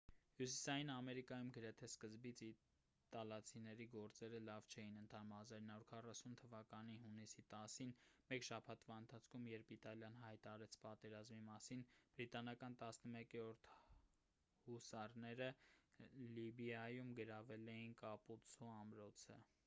հյուսիսային ամերիկայում գրեթե սկզբից իտալացիների գործերը լավ չէին ընթանում 1940 թվականի հունիսի 10-ին մեկ շաբաթվա ընթացքում երբ իտալիան հայտարարեց պատերազմի մասին բրիտանական 11-րդ հուսարները լիբիայում գրավել էին կապուցցո ամրոցը